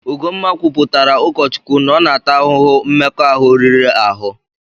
Ugomma kwuputaara ụkọ Chukwu na ọ na-ata ahụhụ mmekọahụ riri ahụ.